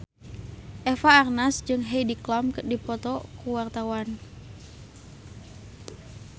Eva Arnaz jeung Heidi Klum keur dipoto ku wartawan